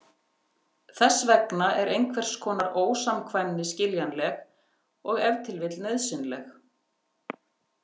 Þess vegna er einhvers konar ósamkvæmni skiljanleg og ef til vill nauðsynleg.